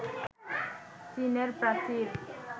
চীনের প্রাচীর